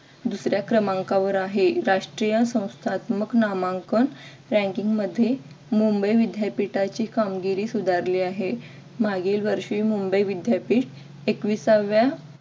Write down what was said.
दुसऱ्या क्रमांकावर आहे. राष्ट्रीय संस्थानात्मक ranking मध्ये मुंबई विद्यापीठाची कामगिरी सुधारली आहे. मागील वर्षी मुंबई विद्यापीठ एकविसाव्या